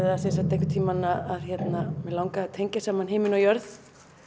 það einhvern tímann að mig langaði að tengja saman himinn og jörð